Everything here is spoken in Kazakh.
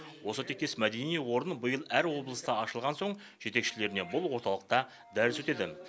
осы тектес мәдени орын биыл әр облыста ашылған соң жетекшілеріне бұл орталықта дәріс өтеді